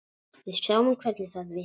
Við sjáum hvernig það virkar.